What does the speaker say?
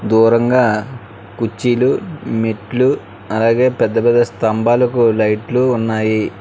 దూరంగా కుర్చీలు మెట్లు అలాగే పెద్ద పెద్ద స్తంభాలకు లైట్లు ఉన్నాయి.